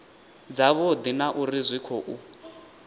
dzavhudi na uri zwi khou